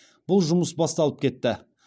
бұл жұмыс басталып кетті